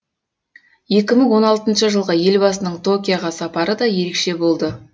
екі мың он алтыншы жылғы елбасының токиоға сапары да ерекше болды